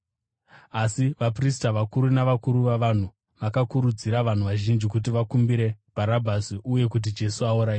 Asi vaprista vakuru navakuru vavanhu vakakurudzira vanhu vazhinji kuti vakumbire Bharabhasi uye kuti Jesu aurayiwe.